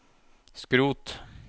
skrot